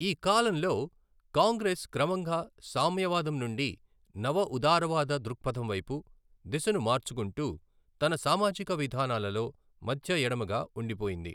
ఈ కాలంలో కాంగ్రెస్ క్రమంగా సామ్యవాదం నుండి నవఉదారవాద దృక్పథం వైపు దిశను మార్చుకుంటూ, తన సామాజిక విధానాలలో మధ్య ఎడమగా ఉండిపోయింది.